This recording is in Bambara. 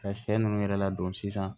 Ka sɛ ninnu yɛrɛ ladon sisan